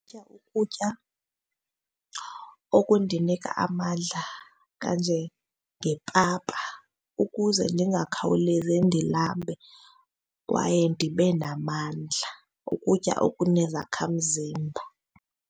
Ukutya ukutya okundinika amandla kanjengepapa ukuze ndingakhawulezi ndilambe kwaye ndibe namandla, ukutya okunezakhamzimba.